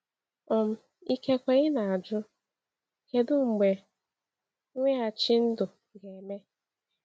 um Ikekwe ị na-ajụ: ‘Kedu mgbe mweghachi ndụ ga-eme?’